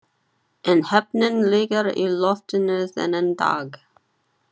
En heppnin liggur í loftinu þennan dag.